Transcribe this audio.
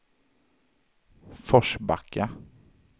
Forsbacka